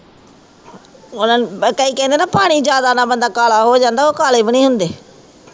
ਓਹਦਾ ਕਈ ਕਹਿੰਦੇ ਨਾ ਪਾਣੀ ਜਿਆਦਾ ਨਾ ਬੰਦਾ ਕਾਲਾ ਹੋ ਜਾਂਦਾ ਆ ਉਹ ਕਾਲੇ ਵੀ ਨਹੀਂ ਹੁੰਦੇ।